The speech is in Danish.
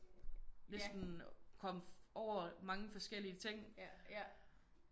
Næsten kommet over mange forskellige ting